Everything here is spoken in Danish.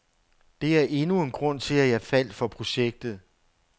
Det er endnu en grund til, at jeg faldt for projektet.